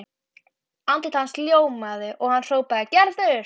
Andlit hans ljómaði og hann hrópaði: Gerður!